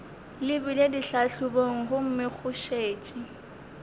lebile ditlhahlobong gomme go šetše